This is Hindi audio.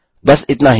बस इतना ही